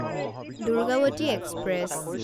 Durgavati express